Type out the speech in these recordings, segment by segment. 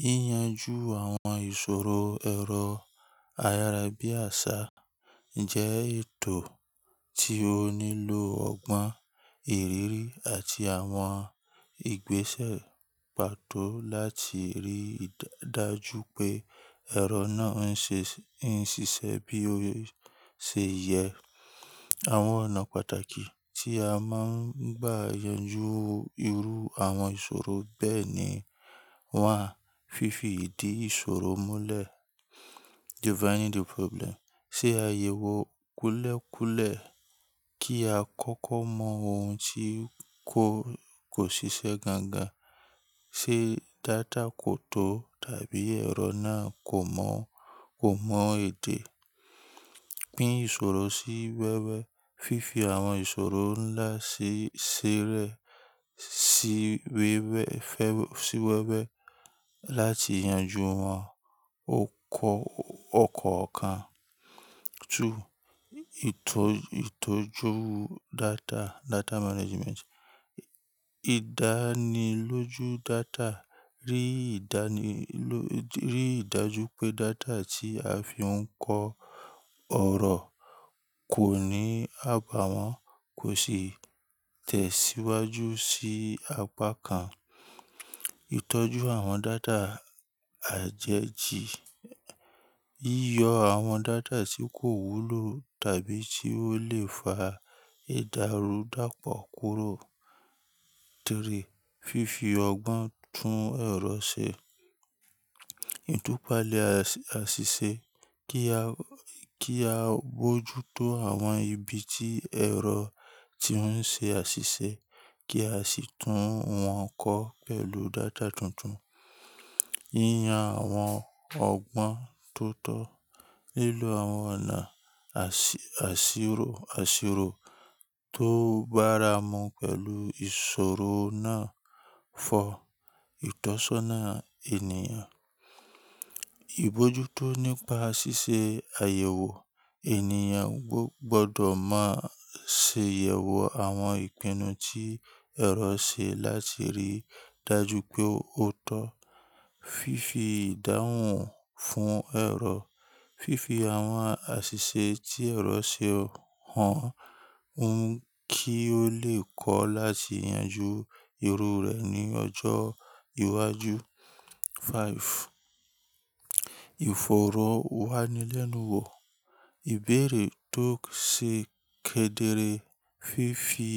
Yíyanju àwọn ìṣòro ẹ̀rọ ayárabíàṣá jẹ́ ètò tí ó nílò ọgbọ́n ìrírí àti àwọn ìgbésẹ̀ pàtó láti rí i dájú pé ẹ̀rọ náà ń ṣiṣẹ́ bí ó ṣe yẹ. Àwọn ọ̀nà pàtàkì tí a máa ń bá yanjú irú àwọn ìṣòro bẹ́ẹ̀ ni: Wàá fífi ìdí ìṣòro múlẹ̀: ṣe àyẹ̀wò kúlẹ̀kúlẹ̀ kí a kọ́kọ́ mọ ohun tí kò ṣiṣẹ́ gangan. Ṣé data kò tó? Tàbí ẹ̀rọ náà kò mọ èdè? Pín ìṣòro sí wẹ́wẹ́: fífi àwọn ìṣòro ńlá ṣẹrẹ́ sí wẹ́wẹ́ láti yanjú wọn ọ̀kọ̀ọ̀kan. Ìtọ́jú data: ìdánilójú data: rí i dájú pé data tí a fi ń kọ ọ̀rọ̀ kò ní àbàwọ́n, kò sì tẹ̀síwájú sí apá kan. Ìtọ́jú àwọn data àjẹjì: yọ àwọn data tí kò wúlò tàbí tí ó lè fa ìdàrúdàpọ̀ kúrò. Fifi ọgbọ́n tún ẹ̀rọ ṣe: ìtúpalẹ̀ àṣìṣe: kí a bojútó àwọn ibi tí ẹ̀rọ ti ń ṣe àṣìṣe kí a sì tún wọn kọ pẹ̀lú data tuntun. Yíyan àwọn ọgbọ́n tó tọ́: lílo àwọn ọ̀nà àsìrò tó báramu pẹ̀lú ìṣòro náà fọ ìtọ́sọ́nà ènìyàn. Ibojútó nípa ṣíṣe àyẹ̀wò: ènìyàn gbọdọ̀ máa ṣe àyẹ̀wò àwọn ìpinnu tí ẹ̀rọ ṣe láti rí i dájú pé ó tọ́. Fifi ìdáhùn fún ẹ̀rọ: fífi àwọn àṣìṣe tí ẹ̀rọ ṣe hàn hun kí ó lè kọ́ láti yanjú irú rẹ̀ ní ọjọ́ iwájú. Ìfọ̀rọ̀wánilẹ́nuwò: ìbéèrè tó ṣe kedere, fífi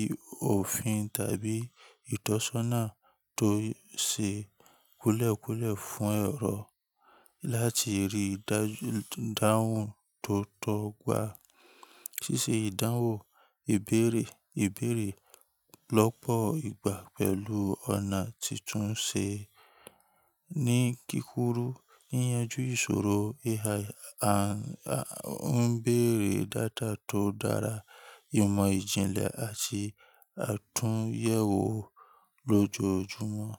òfin tàbí ìtọ́sọ́nà tó ṣe kúlẹ̀kúlẹ̀ fún ẹ̀rọ láti rí ìdáhùn tó tọ́ gbà. Ṣíṣe ìdáhùn ìbéèrè: ìbéèrè lọ́pọ̀ ìgbà pẹ̀lú ọ̀nà tuntun ṣe ní kíkúrú yíyanju ìṣòro AI. A ń béèrè data tó dára, ìmọ̀ ìjìnlẹ̀ àti àtúnyẹ̀wò lójoojúmọ́.